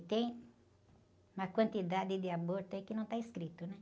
E tem uma quantidade de aborto aí que não está escrito, né?